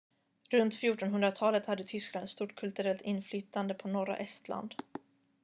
runt 1400-talet hade tyskland ett stort kulturellt inflytande på norra estland